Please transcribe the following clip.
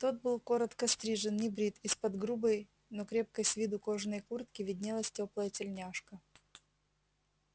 тот был коротко стрижен небрит из-под грубой но крепкой с виду кожаной куртки виднелась тёплая тельняшка